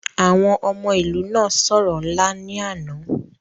àwọn ọmọ ilu na soro nla ni ana.